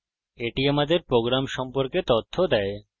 এটি আমাদের program সম্পর্কে তথ্য দেয়